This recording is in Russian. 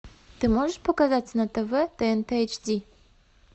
ты можешь показать на тв тнт эйч ди